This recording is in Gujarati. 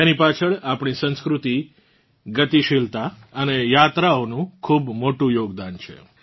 તેની પાછળ આપણી સાંસ્કૃતિક ગતિશીલતા અને યાત્રાઓનું ખૂબ મોટું યોગદાન છે